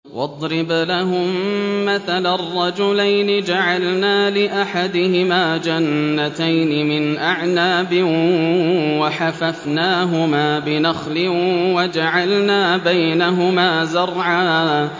۞ وَاضْرِبْ لَهُم مَّثَلًا رَّجُلَيْنِ جَعَلْنَا لِأَحَدِهِمَا جَنَّتَيْنِ مِنْ أَعْنَابٍ وَحَفَفْنَاهُمَا بِنَخْلٍ وَجَعَلْنَا بَيْنَهُمَا زَرْعًا